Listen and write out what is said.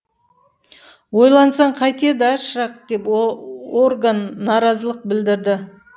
ойлансаң қайтеді а шырақ деп орган наразылық білдірді